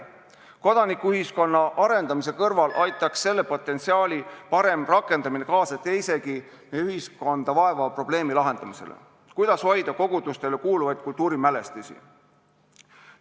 Kodanikuühiskonna arendamise kõrval aitaks selle potentsiaali parem rakendamine kaasa teisegi ühiskonda vaevava probleemi lahendamisele: sellele, kuidas hoida kogudustele kuuluvaid kultuurimälestisi.